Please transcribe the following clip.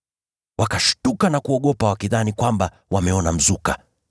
Wakashtuka na kuogopa wakidhani kwamba wameona mzuka.